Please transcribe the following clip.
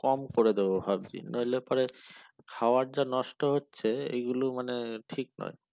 কম করে দেবো ভাবছি নইলে পরে খাওয়ার যা নষ্ট হচ্ছে এইগুলো মানে ঠিক নয়